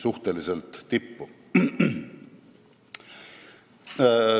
prioriteetide rea tippu.